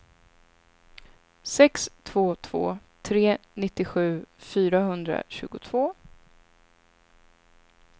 sex två två tre nittiosju fyrahundratjugotvå